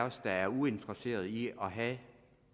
os der er uinteresserede i at have